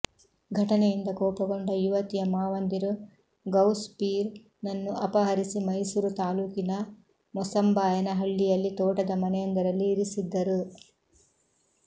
ಘಟನೆಯಿಂದ ಕೋಪಗೊಂಡ ಯುವತಿಯ ಮಾವಂದಿರು ಗೌಸ್ ಫೀರ್ ನನ್ನು ಅಪಹರಿಸಿ ಮೈಸೂರು ತಾಲೂಕಿನ ಮೊಸಂಬಾಯನಹಳ್ಳಿಯಲ್ಲಿ ತೋಟದ ಮನೆಯೊಂದರಲ್ಲಿ ಇರಿಸಿದ್ದರು